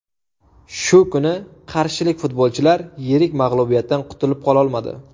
Shu kuni qarshilik futbolchilar yirik mag‘lubiyatdan qutilib qololmadi.